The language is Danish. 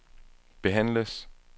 behandles